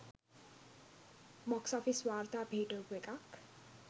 Box office වාර්තා පිහිටවපු එකක්.